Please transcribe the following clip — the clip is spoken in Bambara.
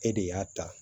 E de y'a ta